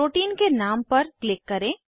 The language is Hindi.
प्रोटीन के नाम पर क्लिक करें